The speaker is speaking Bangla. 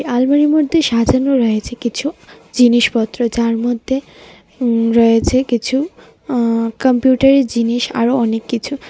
আলমারির মধ্যে সাজানো রয়েছে কিছু জিনিসপত্র যার মধ্যে উম রয়েছে কিছু আ কম্পিউটারের জিনিস আরো অনেক কিছু।